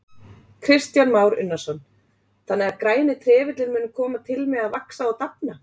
Kristján Már Unnarsson: Þannig að græni trefillinn mun koma til með að vaxa og dafna?